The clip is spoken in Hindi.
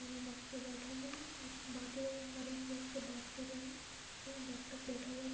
डॉक्टर बैठा हुआ है और बातें मरीज लोग से बात कर रहे है डॉक्टर बैठा हुआ --